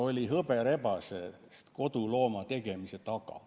– oli hõberebasest kodulooma tegemise taga.